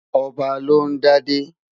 Ọba ló ń dádé.